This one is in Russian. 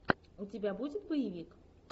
у тебя будет боевик